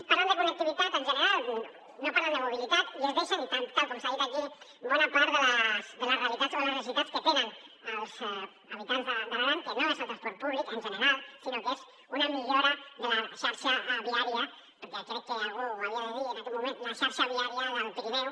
parlen de connectivitat en general no parlen de mobilitat i es deixen tal com s’ha dit aquí bona part de la realitat o de les necessitats que tenen els habitants de l’aran que no és el transport públic en general sinó que és una millora de la xarxa viària perquè crec que algú ho havia de dir en aquest moment la xarxa viària del pirineu